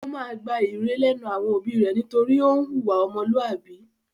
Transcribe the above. Ó máa gba ìre lẹ́nu àwọn òbí rẹ̀ nítorí ó ń hùwà ọmọlúàbí.